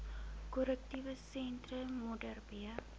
korrektiewe sentrum modderbee